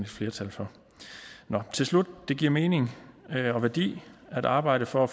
flertal for til slut det giver mening og værdi at arbejde for at